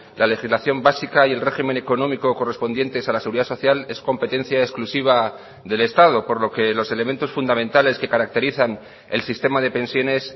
la legislación básica y el régimen económico correspondientes a la seguridad social es competencia exclusiva del estado por lo que los elementos fundamentales que caracterizan el sistema de pensiones